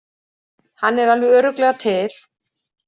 Hann er alveg örugglega til.